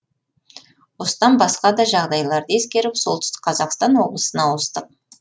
осыдан басқа да жағдайларды ескеріп солтүстік қазақстан облысына ауыстық